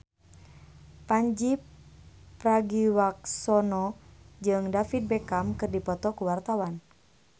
Pandji Pragiwaksono jeung David Beckham keur dipoto ku wartawan